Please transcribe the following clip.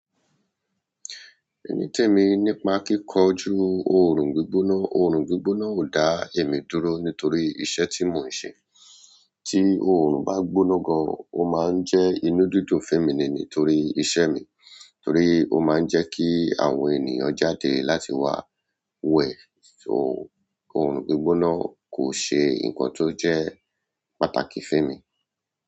Ẹni tí èmi nípa kíkọ́ ju ọ̀run gbígbóná, ọ̀run gbígbóná ò dá èmi dúró nítorí iṣẹ́ tí mò ń ṣe. Tí ọ̀run bá gbóná gan, ó máa ń jẹ́ inú dídùn fún èmi nítorí iṣẹ́ mi, torí ó máa ń jẹ́ kí àwọn ènìyàn jáde láti wá wẹ̀ o. Ọ̀orun gbígbona kò ṣe nǹkan tó jẹ́ pàtàkì fún ẹmi.